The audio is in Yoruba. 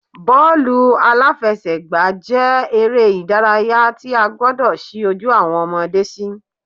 Bọ́ọ̀lù-aláfẹ́sẹ̀gbà jẹ́ eré ìdárayá tí a gbọdọ̀ ṣí ojú awọn ọmọde sí